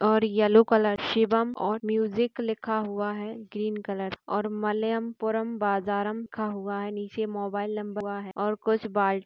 और yellow colour Shivam और music लिखा हुआ है ग्रीन कलर और मलयम पुरम बाजार लिखा हुआ है नीचे मोबाईल नंबर लिखा हुआ है और कुछ बाल --